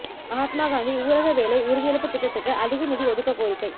மகாத்மா காந்தி ஊரக வேலை உறுதியளிப்பு திட்டத்துக்கு அதிக நிதி ஒதுக்கக் கோரிக்கை